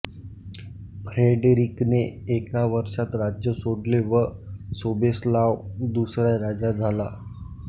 फ्रेडरिकने एका वर्षात राज्य सोडले व सोबेस्लाव दुसरा राजा झाला